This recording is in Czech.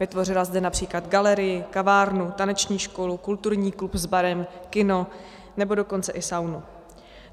Vytvořila zde například galerii, kavárnu, taneční školu, kulturní klub s barem, kino, nebo dokonce i saunu.